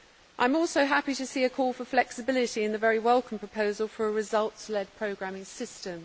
I am also happy to see a call for flexibility in the very welcome proposal for a results led programming system.